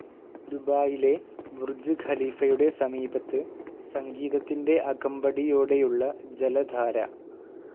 ദുബായിലെ ബർജ് ഖലീഫയുടെ സമീപത്ത് സംഗീതത്തിൻ്റെ അകമ്പടിയോടെയുള്ള ജലധാര.